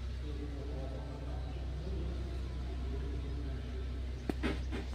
ore kumok oltungana moruak ,na yieunoto na entoki etipat.